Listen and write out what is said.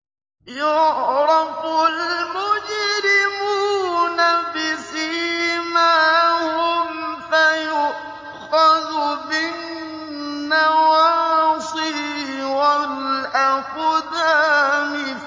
يُعْرَفُ الْمُجْرِمُونَ بِسِيمَاهُمْ فَيُؤْخَذُ بِالنَّوَاصِي وَالْأَقْدَامِ